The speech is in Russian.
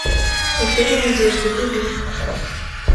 потеря надежды вруби